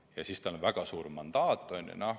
Ja siis tal on väga suur mandaat.